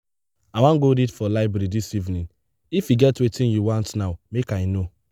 i wan go read for library dis evening if e get wetin you want now make i no.